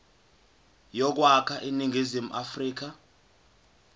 yokwakha iningizimu afrika